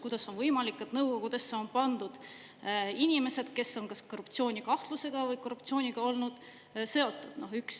Kuidas on võimalik, et nõukogudesse on pandud inimesed, kes on kas korruptsioonikahtlusega või korruptsiooniga olnud seotud?